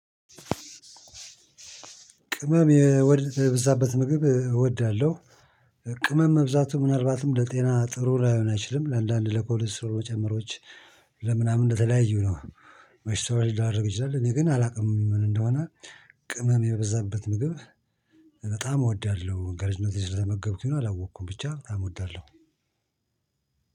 ቅመም የበዛበት ምግብ እወዳለሁ። ቅመም መብዛቱ ምናልባትም ለጤና ጥሩ ላይሆን አይችልም ለአንዳንድ ለኮሎስትሮሎች ጨምሮዎች ለምናምን እንደተለያዩ በሽታዎች ሊዳርግ ይችላል። እኔ ግን አላውቅም ምን እንደሆነ። ቅመም የበዛበት ምግብ በጣም እወዳለሁ። ከልጅነቴ ስለተመገብኩኝ ነው አላወቅኩም ብቻ በጣም እወዳለሁ።